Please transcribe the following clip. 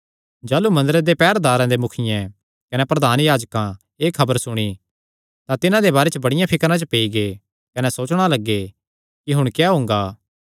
जाह़लू मंदरे दे पैहरेदारां दे मुखियें कने प्रधान याजकां एह़ खबर सुणी तां तिन्हां दे बारे च बड़िया फिकर च पेई गै कने सोचणा लग्गे कि हुण क्या हुंगा